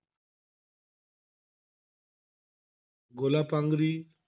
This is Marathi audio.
गोलापांगरी,